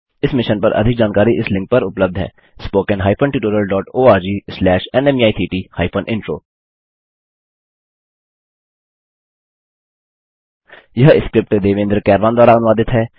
इस मिशन पर अधिक जानकारी इस लिंक पर उपलब्ध हैspoken hyphen tutorial dot O R G slash नमेक्ट हाइफेन इंट्रो यह स्क्रिप्ट देवेन्द्र कैरवान द्वारा अनुवादित है